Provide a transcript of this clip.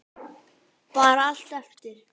Sunna: Bara allt eftir?